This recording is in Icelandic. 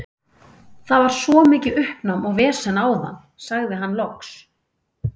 Það var svo mikið uppnám og vesen áðan, sagði hann loks.